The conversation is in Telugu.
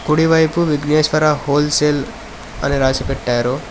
కుడివైపు విఘ్నేశ్వర హోల్సేల్ అని రాసి పెట్టారు.